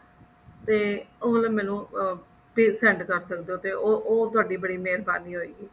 ਤੇ ਉਹ ਵਾਲਾ ਮੈਨੂੰ ਜੇ send ਕਰ ਸਕਦੇ ਹੋ ਉਹ ਉਹ ਥੋੜੀ ਬੜੀ ਮੇਹਰਬਾਨੀ ਹੋਵੇਗੀ